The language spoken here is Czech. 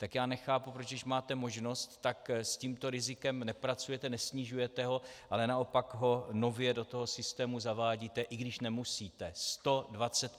Tak já nechápu, proč když máte možnost, tak s tímto rizikem nepracujete, nesnižujete ho, ale naopak ho nově do toho systému zavádíte, i když nemusíte.